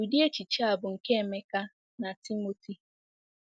Ụdị echiche a bụ nke Emeka na Timoti.